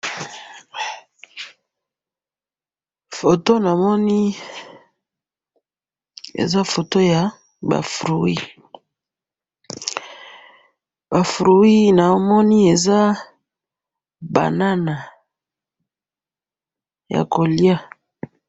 photo namoni eza foto yaba fruit , ba fruit namoni eza banana ya koliya